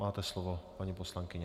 Máte slovo, paní poslankyně.